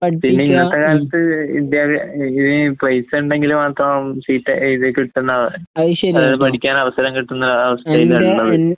പിന്നെഇന്നത്തെകാലത്ത് ഇദ്ദേഹ എങ്ങനെയും പൈസയൊണ്ടെങ്കിൽമാത്രം സീറ്റ് എഴുതിക്കിട്ടുന്ന പഠിക്കാൻഅവസരംകിട്ടുന്ന ആഅവസ്ഥയിലാള്ളത്.